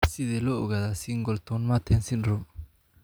Sidee loo ogaadaa Singleton Merten syndrome?